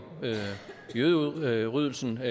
jødeudryddelsen og